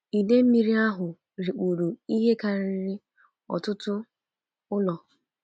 Ide mmiri ahụ rikpuru ihe karịrị ọtụtụ ụlọ.